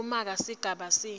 yekumaka sigaba c